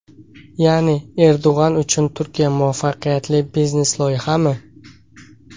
Ya’ni Erdo‘g‘on uchun Turkiya muvaffaqiyatli biznes-loyihami?